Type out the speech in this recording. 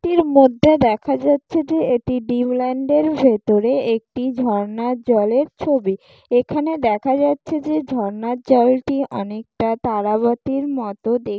টির মধ্যে দেখা যাচ্ছে যে এটি ড্রিম ল্যান্ডের ভেতরে একটি ঝর্ণার জলের ছবি। এখানে দেখা যাচ্ছে যে ঝর্ণার জলটি অনেকটা তারাবাতির মতো দে --